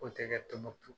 K'o tɛgɛ tombouctou